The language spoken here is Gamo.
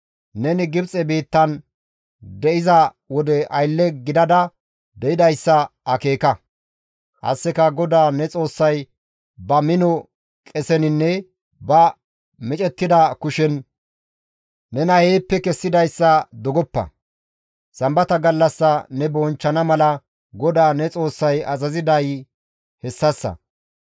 Neni Gibxe biittan de7iza wode aylle gidada de7idayssa akeeka; qasseka GODAA ne Xoossay ba mino qeseninne ba micettida kushen nena heeppe kessidayssa dogoppa; sambata gallassa ne bonchchana mala GODAA ne Xoossay azaziday hessassa.